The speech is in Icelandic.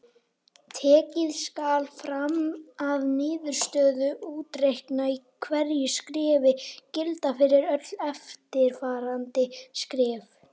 Tekið skal fram að niðurstöður útreikninga í hverju skrefi gilda fyrir öll eftirfarandi skref.